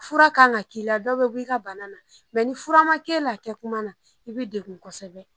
Fura kan ka k'i la dɔ bɛ bɔ i ka bana na ni fura ma k'e la kɛ kuma na i bɛ degun kosɛbɛ